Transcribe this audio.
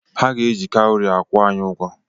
Ha ga-eji kawụri akwụ anyị ụgwọ.